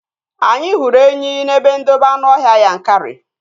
Anyị hụrụ enyi n'ebe ndobe anụọhịa Yankari